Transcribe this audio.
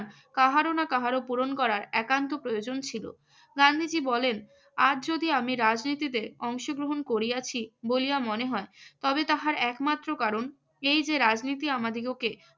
কাহারো না কাহারো পূরণ করার একান্ত প্রয়োজন ছিল। গান্ধীজীর বলেন, আজ যদি আমি রাজনীতিতে অংশগ্রহণ করিয়াছি বলিয়া মনে হয় তবে তাহার একমাত্র কারণ এই যে রাজনীতি আমাদিগকে